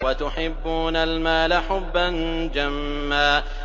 وَتُحِبُّونَ الْمَالَ حُبًّا جَمًّا